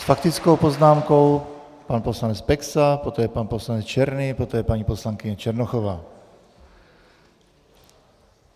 S faktickou poznámkou pan poslanec Peksa, poté pan poslanec Černý, poté paní poslankyně Černochová.